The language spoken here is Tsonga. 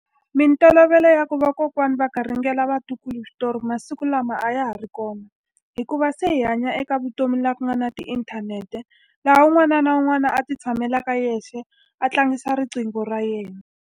Mintolovelo ya ku vakokwani va garingela vatukulu switori masiku lama a ya ha ri kona, hikuva se hi hanya eka vutomi laha ku nga na tiinthanete, laha un'wana na un'wana a ti tshamelaka yexe a tlangisa riqingho ra yena.